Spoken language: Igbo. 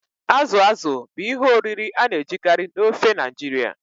Azụ azụ̀ bụ ihe oriri a na-ejikarị na ofe Naijiria.